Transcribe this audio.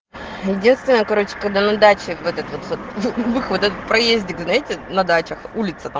едивствиная короче когда на даче вот этот проезде как зайти на дачах улица там